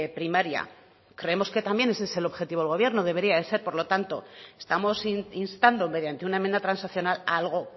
primaria creemos que también ese es el objetivo del gobierno debería de ser por lo tanto estamos instando mediante una enmienda transaccional algo